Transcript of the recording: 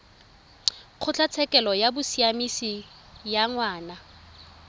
kgotlatshekelo ya bosiamisi ya ngwana